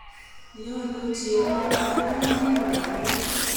yeandochi emet oriib biik kokerkeit